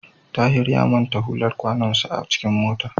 Tahir ya manta hular kwanonsa a cikin mota.